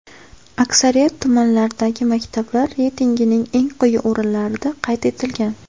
Aksariyat tumanlardagi maktablar reytingning eng quyi o‘rinlarida qayd etilgan.